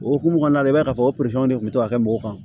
O hukumu kɔnɔna la i b'a ye k'a fɔ de kun bɛ ka kɛ mɔgɔw kan